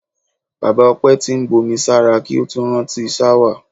Bàbá O̩pé̩ ti ń bomí sára kí ó tó rántí s̩áwà.